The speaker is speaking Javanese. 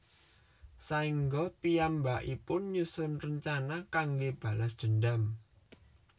Saéngga piyambakipun nyusun rencana kanggé balas dendam